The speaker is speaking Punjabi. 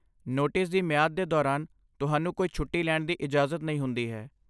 ਨੋਟਿਸ ਦੀ ਮਿਆਦ ਦੇ ਦੌਰਾਨ, ਤੁਹਾਨੂੰ ਕੋਈ ਛੁੱਟੀ ਲੈਣ ਦੀ ਇਜਾਜ਼ਤ ਨਹੀਂ ਹੁੰਦੀ ਹੈ।